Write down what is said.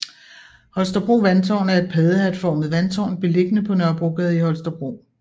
Holstebro Vandtårn er et paddehatformet vandtårn beliggende på Nørrebrogade i Holstebro